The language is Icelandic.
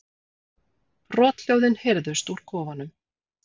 Brothljóðin heyrðust úr kofanum.